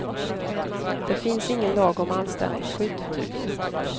Det finns ingen lag om anställningsskydd.